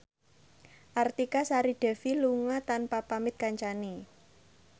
Artika Sari Devi lunga tanpa pamit kancane